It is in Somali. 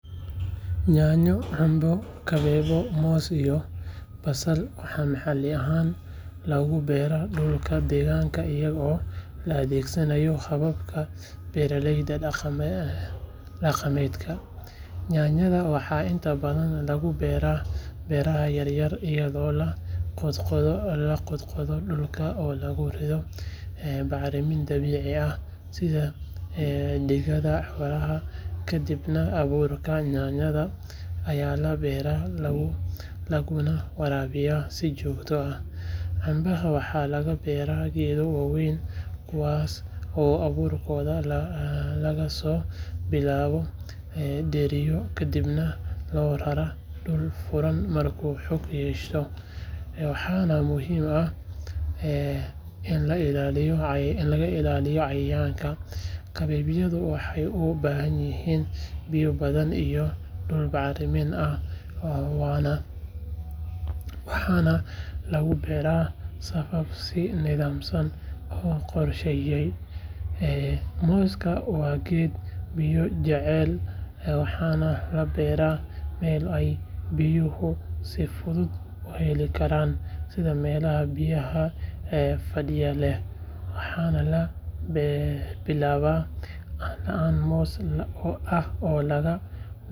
Yaanyo, cambe, kabeebyo, moos iyo basal waxaa maxalli ahaan loogu beeraa dhulka deegaanka iyadoo la adeegsanayo hababka beeraleyda dhaqameedka. Yaanyada waxaa inta badan lagu beeraa beeraha yaryar iyadoo la qodqodo dhulka oo lagu rido bacrimin dabiici ah sida digada xoolaha kadibna abuurka yaanyada ayaa la beeraa laguna waraabiyaa si joogto ah. Cambaha waxaa laga beeraa geedo waaweyn kuwaas oo abuurkooda laga soo bilaabo dheriyo kadibna loo raraa dhul furan markuu xoog yeesho, waxaana muhiim ah in la ilaaliyo cayayaanka. Kabeebyada waxay u baahan yihiin biyo badan iyo dhul bacrin ah waxaana lagu beeraa safaf si nidaamsan loo qorsheeyay. Mooska waa geed biyo jecel waxaana la beeraa meelo ay biyuhu si fudud u heli karaan sida meelaha biyaha fadhiya leh, waxaana laga bilaabaa laan moos ah oo laga.